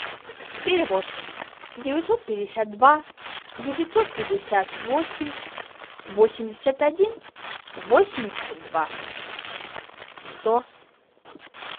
перевод девятьсот пятьдесят два девятьсот пятьдесят восемь восемьдесят один восемьдесят два сто